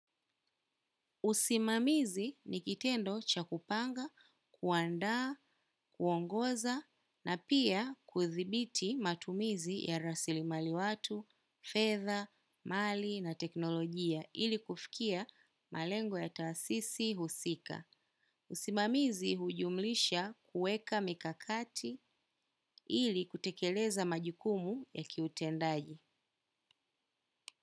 Usimamizi ni kitendo cha kupanga, kuandaa, kuongoza na pia kuthibiti matumizi ya rasilimali watu, fedha, mali na teknolojia ili kufikia malengo ya taasisi husika. Usimamizi hujumlisha kueka mikakati ili kutekeleza majukumu ya kiutendaji.